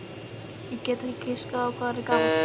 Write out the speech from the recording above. Ég get ekki giskað á hvað hann er gamall.